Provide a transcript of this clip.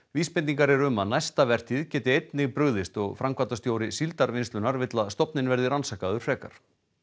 vísbendingar eru um næsta vertíð gæti einnig brugðist og framkvæmdastjóri Síldarvinnslunnar vill að stofninn verði rannsakaður frekar